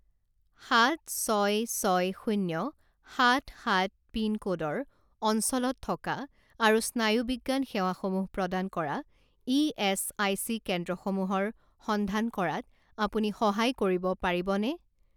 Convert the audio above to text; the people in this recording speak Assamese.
সাত ছয় ছয় শূণ্য সাত সাত পিনক'ডৰ অঞ্চলত থকা আৰু স্নায়ুবিজ্ঞান সেৱাসমূহ প্ৰদান কৰা ইএচআইচি কেন্দ্ৰসমূহৰ সন্ধান কৰাত আপুনি সহায় কৰিব পাৰিবনে?